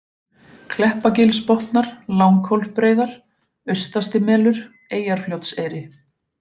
Kleppagilsbotnar, Langhólsbreiðar, Austastimelur, Eyjarfljótseyri